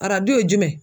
Arajo ye jumɛn